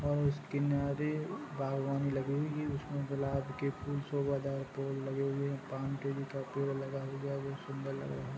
और उस किनारे बागवानी लगी हुई है उसमें गुलाब के फूल सोभादार पेड़ लगे हुए हैं पान केवी का पेड़ लगा हुआ है बहुत सुन्दर लगा हुआ है